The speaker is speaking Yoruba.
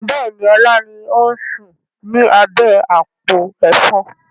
Bẹ́ẹ̀ni, ọlá ni ó ń sùn ni abẹ́ àpò Ẹ̀fọn.